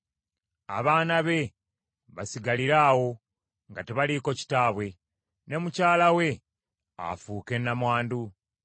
Abaana be basigalire awo nga tebaliiko kitaabwe, ne mukyala we afuuke nnamwandu.